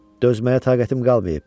Dözməyə taqətim qalmayıb.